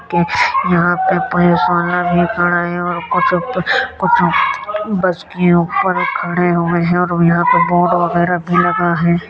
के यहाँ पे पुलिसवाला भी खड़ा है और कुछ प कुछ प बस के ऊपर खड़े हुए हैं और यहाँ पे बोर्ड वगगैरा भी लगा है।